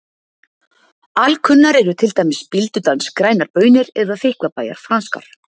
Alkunnar eru til dæmis Bíldudals grænar baunir eða Þykkvabæjar franskar.